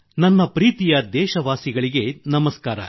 ನನ್ನ ಪ್ರೀತಿಯ ದೇಶವಾಸಿಗಳಿಗೆ ನಮಸ್ಕಾರ